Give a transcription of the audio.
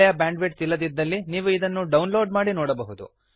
ಒಳ್ಳೆಯ bandwidth ಇಲ್ಲದಿದ್ದಲ್ಲಿ ನೀವು ಇದನ್ನು ಡೌನ್ ಲೋಡ್ ಮಾಡಿ ನೋಡಬಹುದು